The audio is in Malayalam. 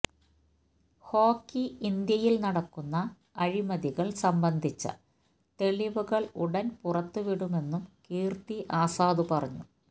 ഹോക്കി ഇന്ത്യയില് നടക്കുന്ന അഴിമതികള് സംബന്ധിച്ച തെളിവുകള് ഉടന് പുറത്തുവിടുമെന്നും കീര്ത്തി ആസാദ് പറഞ്ഞു